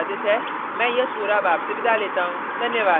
यह स्क्रिप्ट प्रभाकर द्वारा अनुवादित है मैं यश वोरा अब आपसे विदा लेता हूँ